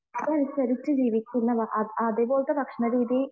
അതനുസരിച്ചു ജീവിക്കുന്ന അതുപോലത്തെ ഭക്ഷണ രീതി